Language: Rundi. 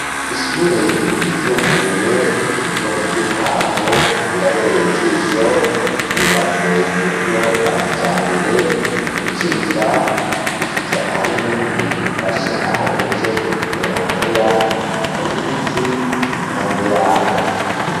Ishure ryisumbuye ryo mutwinkwavu rirabereye ijisho ryubatswe mu buryo bwa kija mbere gucinjira gushikira ahari nkingi ifashe aho uwujejwe indero akorera hari n'igiti kira impande yaho.